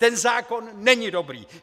Ten zákon není dobrý!